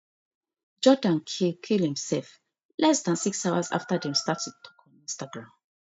jordan kill kill imself less dan six hours after dem start to tok on instagram